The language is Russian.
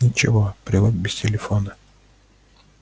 ничего привык без телефона